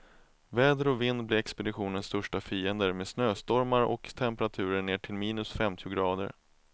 Väder och vind blir expeditionens största fiender, med snöstormar och temperaturer ner till minus femtio grader.